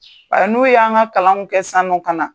n'u y'an ka kalanw kɛ san'u ka na.